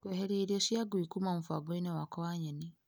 Kweheria irio cia ngui kuma mũbango-inĩ wakwa wa nyeni .